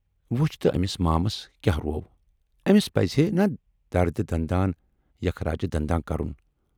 وُچھ تہٕ أمس مامَس کیاہ روو! ٲمِس پَزِہے نا دردِ دنداں یخراجِ دنداں کَرُن۔